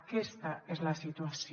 aquesta és la situació